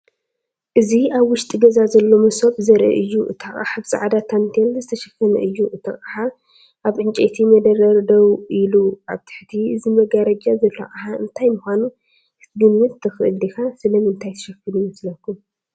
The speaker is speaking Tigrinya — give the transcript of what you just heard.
እዚ ኣብ ውሽጢ ገዛ ዘሎ መሶብ ዘርኢ እዩ። እቲ ኣቕሓ ብጻዕዳ ታንቴል ዝተሸፈነ እዩ። እቲ ኣቕሓ ኣብ ዕንጨይቲ መደርደሪ ደው ኢሉ። ኣብ ትሕቲ እዚ መጋረጃ ዘሎ ኣቕሓ እንታይ ምዃኑ ክትግምት ትኽእል ዲኻ? ስለምንታይ ተሸፊኑ ይመስለኩም?